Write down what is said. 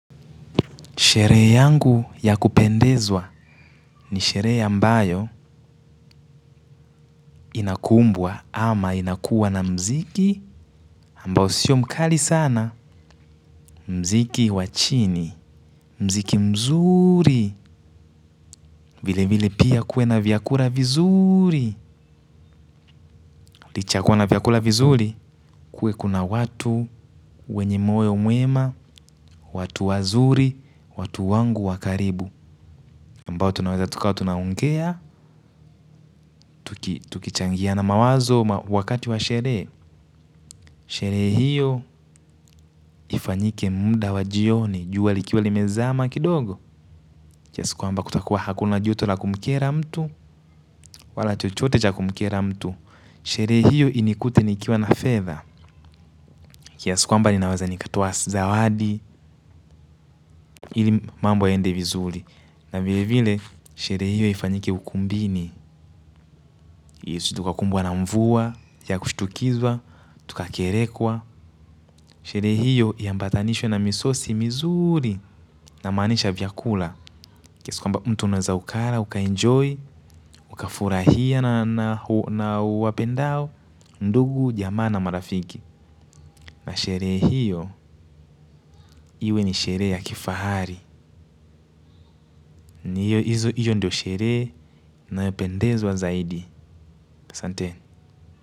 Sherehe yangu ya kupendezwa ni sherehe ambayo inakumbwa ama inakuwa na muziki ambao sio mkali sana. Muziki wachini, muziki mzuri, vile vile pia kuwena vyakula vizuri. Lichayakua na vyakula vizuri, kuwe kuna watu wenye moyo mwema, watu wazuri, watu wangu wakaribu. Ambao tunaweza tukawa tunaongea, tukichangia na mawazo wakati wa sherehe. Sherehe hiyo ifanyike muda wa jioni. Jua likiwa limezama kidogo kiasikwamba kutakuwa hakuna joto la kumkera mtu. Wala chochote cha kumkera mtu. Sherehe hiyo inikute nikiwa na fedha. Kiasikwamba ninaweza nikatoa zawadi ili mambo yaende vizuri. Na vile vile sherehe hiyo ifanyike ukumbini Yesu tukakumbwa na mvua ya kushtukizwa Tukakerekwa. Sherehe hiyo iambatanishwe na misosi mizuri. Na maanisha vyakula kiasakwa mbamtu unaweza ukala, uka enjoy, uka furahia na uwapendao, ndugu jamaana marafiki. Na sherehe hiyo, iwe ni sherehe ya kifahari. Hiyo ndiyo sherehe nayo pendezwa zaidi. Santeni.